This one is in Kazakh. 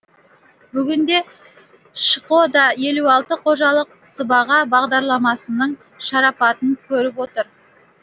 бүгінде шқо да елу алты қожалық сыбаға бағдарламасының шарапатын көріп отыр